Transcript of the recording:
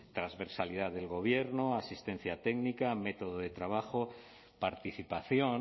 transversalidad del gobierno asistencia técnica método de trabajo participación